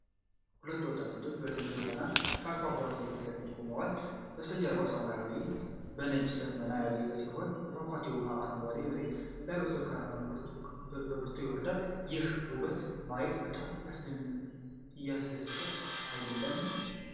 ሁለት ወጣት ሴቶች በድንቅ የጣና በሀይቅ ፏፏቴ ፊት ቆመዋል። በስተጀርባ ሰማያዊው ሰማይ በነጭ ደመናዎች ያጌጠ ሲሆን፣ የፏፏቴው ውሃ በአረንጓዴው መሬት ላይ በብርቱ ይወርዳል። ይህን ውበት ማየት በጣም ያስደስታል አይደለም?